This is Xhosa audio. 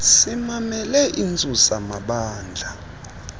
simamele intsusa mabandla